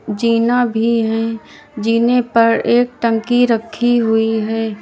जीना भी है जीने पर एक टंकी रखी हुई है।